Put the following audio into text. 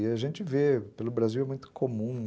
E a gente vê, pelo Brasil é muito comum.